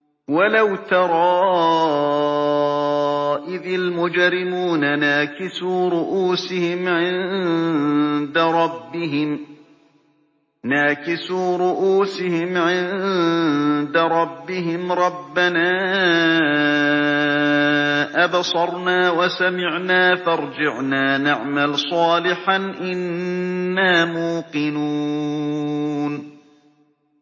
وَلَوْ تَرَىٰ إِذِ الْمُجْرِمُونَ نَاكِسُو رُءُوسِهِمْ عِندَ رَبِّهِمْ رَبَّنَا أَبْصَرْنَا وَسَمِعْنَا فَارْجِعْنَا نَعْمَلْ صَالِحًا إِنَّا مُوقِنُونَ